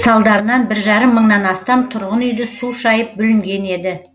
салдарынан бір жарым мыңнан астам тұрғын үйді су шайып бүлінген еді